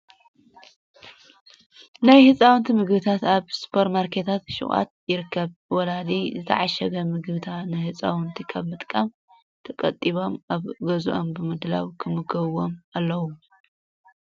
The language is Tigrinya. ናይ ህፃውንቲ ምግብታት ኣብ ስፐር ማርኬታትን ሹቃትን ይርከቡ። ወለዲ ዝተዓሸጉ ምግብታ ንህፃውንቲ ካብ ምጥቃም ተቆጢቦም ኣብ ገዝኦም ብምድላው ከምግብዎም ኣለዎም።